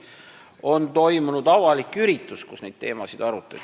On toimunud avalik üritus, kus neid teemasid arutati.